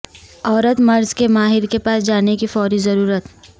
عورت مرض کے ماہر کے پاس جانے کی فوری ضرورت